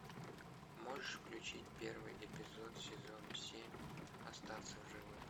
можешь включить первый эпизод сезона семь остаться в живых